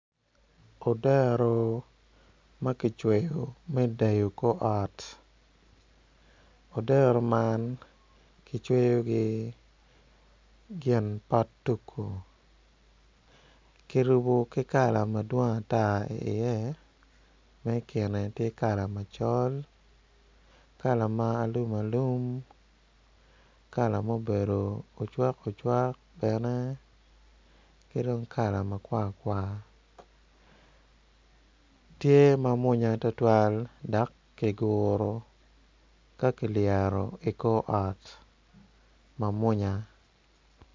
Odero ma kicweyo me dero kor ot odero man kicweyo ki gin pot tugu kirubo ki kala madwong atar i iye ma ikine tye i iye kala macol kala ma alum alum kala ma obedo ocwak ocwak bene ki dong kala makwarkwar tye ma mwaonya tutwal dok kiguru ka kilyero ikor ot ma mwonya